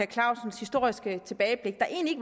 clausens historiske tilbageblik der egentlig